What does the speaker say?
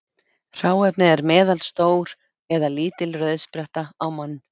Hráefnið er meðalstór eða lítil rauðspretta á mann.